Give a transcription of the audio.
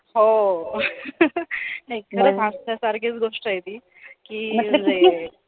हो एकदम हसण्यासारखीचं गोष्ट आहे ती कि